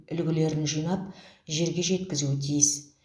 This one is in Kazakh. үлгілерін жинап жерге жеткізуі тиіс